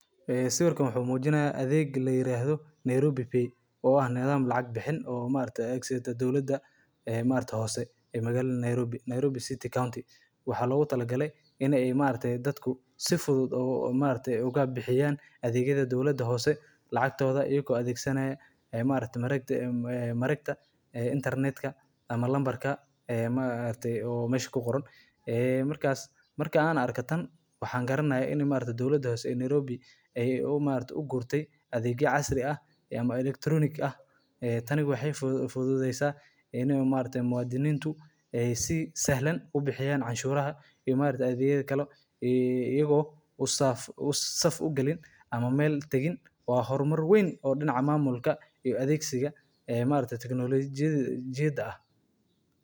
Magaalada Nairobi waa caasimadda dalka Kenya, sidoo kalena ah magaalada ugu weyn gobolka, waxayna leedahay muhiimad dhaqaale, siyaasadeed, iyo bulsho oo weyn oo dalka Kenya iyo Bariga Afrika. Nairobi waxay caan ku tahay xarumo ganacsi, maalgashi, iyo xarumaha dowliga ah, iyadoo ay ku yaallaan safaarado badan, shirkado waaweyn, iyo hay’ado caalami ah sida Qaramada Midoobay iyo Midowga Afrika. Magaalada ayaa sidoo kale leh taariikh qani ah.